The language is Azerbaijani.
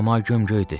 Səma gömgöydür.